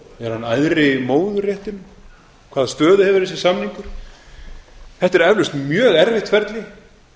samningur er hann æðri móðurréttinum hvaða stöðu hefur þessi samningur þetta er eflaust mjög erfitt ferli